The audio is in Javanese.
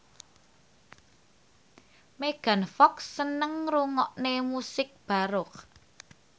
Megan Fox seneng ngrungokne musik baroque